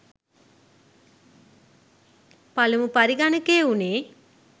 පළමු පරිගණකය වුණේ.